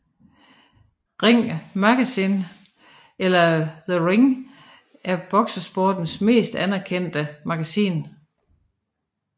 Ring Magazine eller The Ring er boksesportens mest anerkendte magasin